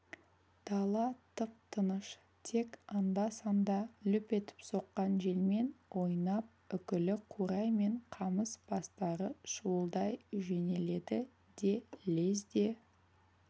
дала тып-тыныш тек анда-санда лүп етіп соққан желмен ойнап үкілі қурай мен қамыс бастары шуылдай жөнеледі де лезде